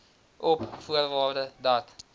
op voorwaarde dat